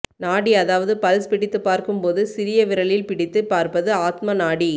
நாடி அதாவது பல்ஸ் பிடித்து பார்க்கும் போது சிறிய விரலில் பிடித்து பார்ப்பது ஆத்ம நாடி